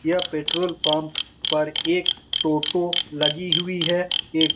यह petrol pump पर एक टोटो लगी हुई है एक --